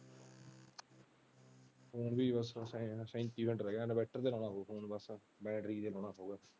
ਬਸ ਸੈਂਤੀ minute ਰਹਿ ਗੇਆ inverter ਬਸ battery .